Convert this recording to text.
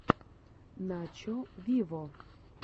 начо виво